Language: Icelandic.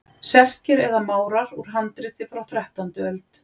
Serkir eða Márar úr handriti frá þrettándu öld.